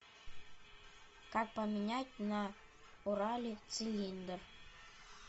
как поменять на урале цилиндр